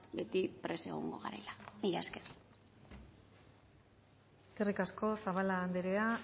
beti prest egongo garela mila esker eskerrik asko zabala anderea